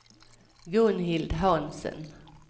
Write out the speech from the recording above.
Gunhild Hansen